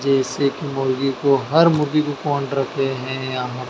जैसे कि मुर्गी को हर मुर्गी को कौन रखे हैं यहाँ --